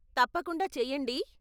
తప్పకుండా చెయ్యండి.